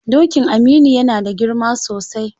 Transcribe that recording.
Dokin Aminu yana da girma sosai.